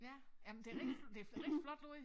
Ja jamen det rigtig det rigtig flot lavet